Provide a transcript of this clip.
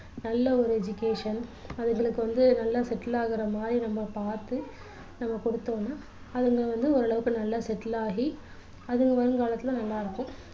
நல்ல ஒரு education அதுங்களுக்கு வந்து நல்லா settle ஆகுற மாதிரி நம்ம பார்த்து நம்ம கொடுத்தோம்னா அதுங்க வந்து ஒரு அளவுக்கு நல்லா settle ஆகி அதுங்க வருங்காலத்தில நல்லா இருக்கும்